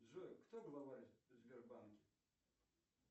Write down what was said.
джой кто главарь в сбербанке